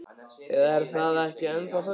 Eða er það ekki ennþá þannig?